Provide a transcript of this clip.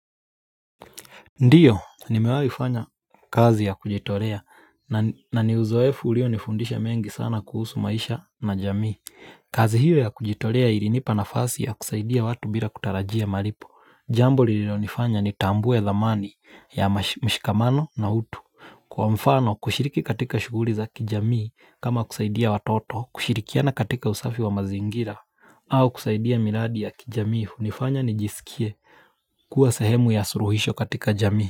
Ndio, nimewahifanya kazi ya kujitolea na ni uzoefu uliyo nifundisha mengi sana kuhusu maisha na jamii. Kazi hiyo ya kujitolea ilinipa nafasi ya kusaidia watu bila kutarajia malipo. Jambo lililonifanya ni tambue dhamani ya mshikamano na utu. Kwa mfano, kushiriki katika shughuli za kijamii kama kusaidia watoto, kushirikiana katika usafi wa mazingira, au kusaidia miradi ya kijamii hunifanya nijisikie kuwa sehemu ya suluhisho katika jamii.